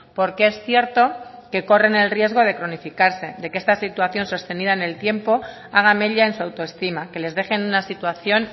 porque es cierto que corren el riesgo de cronificarse de que esta situación sostenida en el tiempo haga mella en su autoestima que les deje en una situación